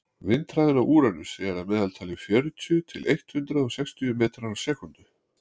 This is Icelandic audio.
vindhraðinn á úranusi er að meðaltali fjörutíu til eitt hundruð sextíu metrar á sekúndu